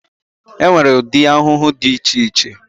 E nwere ụdị ahụhụ dị iche iche.